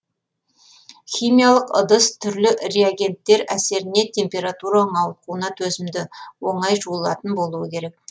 химиялық ыдыс түрлі реагенттер әсеріне температураның ауытқуына төзімді оңай жуылатын болуы керек